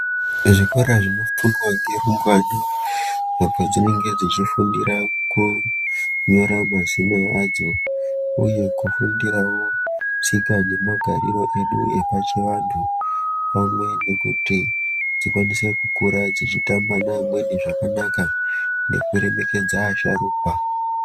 Zvikora zvinofundwa ngerumbwana apo dzinenge dzichifundira kunyora mazina adzo, uye kufundiravo tsika nemagariro edu epachivantu. Pamwe nekuti dzikwanise kukura dzichitamba neamweni zvakanaka nekuremekedza asharuka.